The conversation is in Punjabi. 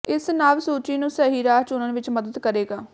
ਇਸ ਨਵ ਸੂਚੀ ਨੂੰ ਸਹੀ ਰਾਹ ਚੁਣਨ ਵਿਚ ਮਦਦ ਕਰੇਗਾ